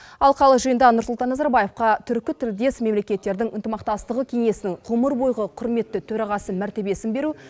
алқалы жиында нұрсұлтан назарбаевқа түркітілдес мемлекеттердің ынтымақтастығы кеңесінің ғұмыр бойғы құрметті төрағасы мәртебесін беру